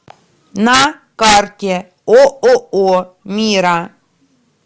на карте ооо мира